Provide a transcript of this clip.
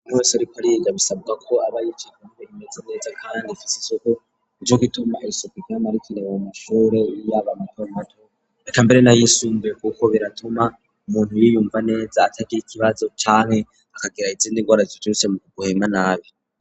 Abintu wese ariko ari yega bisabwa ko aba yicabe imeze neza kanndi ifise isuku iryo k ituma elisopicamarikrebam ishure y'abamatormato rekambere nayisunbuye kuko biratuma umuntu yiyumva neza atagira ikibazo canke akagira izindi rgoraticurusemguhema nabi.